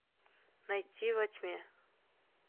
найти во тьме